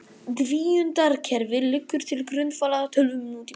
Tvíundarkerfið liggur til grundvallar tölvum nútímans.